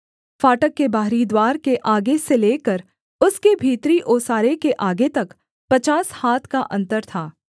फाटक के बाहरी द्वार के आगे से लेकर उसके भीतरी ओसारे के आगे तक पचास हाथ का अन्तर था